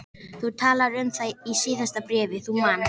Þú talaðir um það í síðasta bréfi, þú manst.